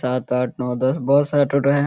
सात आठ नव दस बहुत सारे टोटो हैं।